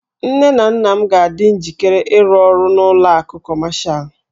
Nne na nna m ga-adị njikere ịrụ ọrụ n'ụlọ akụ Kọmashal.